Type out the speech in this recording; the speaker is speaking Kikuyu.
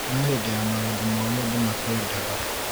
no hĩndĩ ya maũndũ moru andũ makwendaga